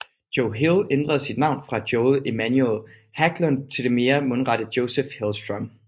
Joe Hill ændrer sit navn fra Joel Emmanuel Hägglund til det mere mundrette Joseph Hillstrom